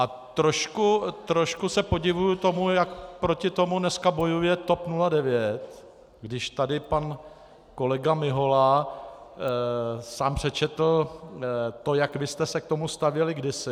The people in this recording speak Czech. A trošku se podivuji tomu, jak proti tomu dneska bojuje TOP 09, když tady pan kolega Mihola sám přečetl to, jak vy jste se k tomu stavěli kdysi.